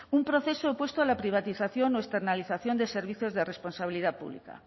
un proceso opuesto a la privatización o externalización de servicios de responsabilidad pública